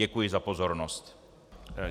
Děkuji za pozornost.